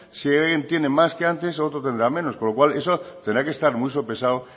si alguien tiene más que antes el otro tendrá menos con lo cual eso tendrá que estar muy sopesado